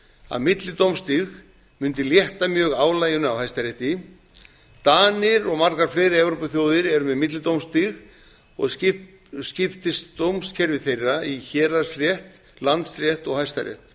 að millidómstig mundi hætta mjög álaginu á hæstarétti danir og margar fleiri evrópuþjóðir eru með millidómstig og skiptist dómskerfi þeirra í héraðsrétt landsrétt og hæstarétt